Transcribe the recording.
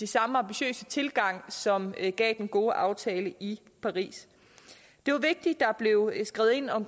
samme ambitiøse tilgang som gav den gode aftale i paris det er vigtigt at revidering blev skrevet ind og